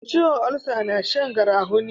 Masu ciwon ulsa na Shan garafuni